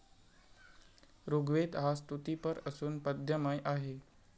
ऋग्वेद हा स्तुतीपर असून पद्यमय आहे.